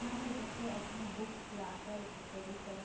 यहां पर बच्चे अपनी बुक्स लाकर स्टडी कर --